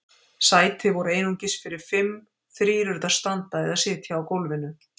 Sæti voru einungis fyrir fimm- þrír urðu að standa eða sitja á gólfinu.